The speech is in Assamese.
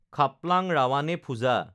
খাপলাং ৰাৱানে ফুজা